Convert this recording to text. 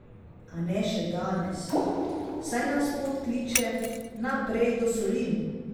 A ne še danes, saj nas pot kliče naprej do solin.